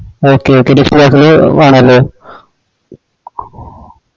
okay okay വെണലെ